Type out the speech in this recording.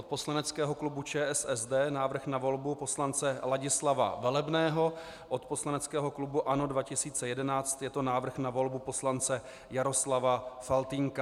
Od poslaneckého klubu ČSSD návrh na volbu poslance Ladislava Velebného, od poslaneckého klubu ANO 2011 je to návrh na volbu poslance Jaroslava Faltýnka.